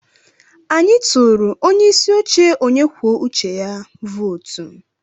Anyị tụụrụ onye isi oche onye kwuo uche ya vootu.